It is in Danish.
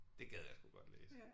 Det gad jeg sgu godt læse